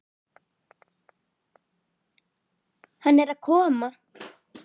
Hann er að koma!